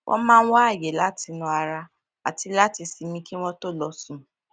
wón máa ń wá àyè láti nà ara àti láti sinmi kí wón tó lọ sùn